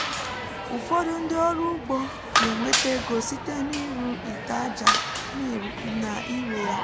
ụfọdụ ndị ọrụ ugbo na-enweta ego site n’ịrụ ite ájá na ire ya